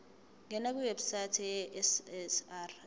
ngena kwiwebsite yesars